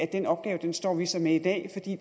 den opgave står vi så med i dag